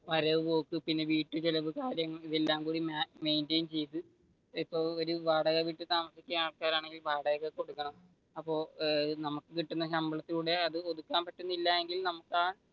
വരവ് പോക്ക്, പിന്നെ വീട്ടു ചിലവ് ഇതെല്ലം കൂടി മെയിൻ റ്റേയിൻ ചെയ്തു ഇപ്പൊ വാടക വീട്ടിൽ താമസിക്കുന്ന ആൾക്കാരാണെങ്കിൽ വാടക കൊടുക്കണം, അപ്പൊ നമുക്ക് കിട്ടുന്ന ശമ്പളത്തിലൂടെ കൊടുക്കാൻ പറ്റുന്നില്ലായെങ്കിൽ നമുക്ക് ആ